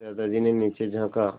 फिर दादाजी ने नीचे झाँका